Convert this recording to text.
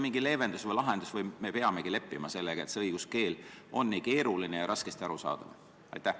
Kas sellel on mingi lahendus või me peamegi leppima sellega, et õiguskeel on nii keeruline ja raskesti arusaadav?